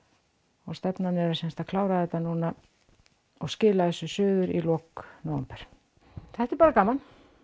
og stefnan er að klára þetta núna og skila þessu suður í lok nóvember þetta er bara gaman